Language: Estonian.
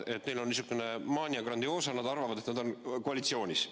Neil on niisugune mania grandiosa, nad arvavad, et nad on koalitsioonis.